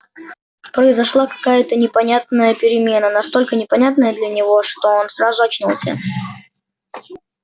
произошла какая то непонятная перемена настолько непонятная для него что он сразу очнулся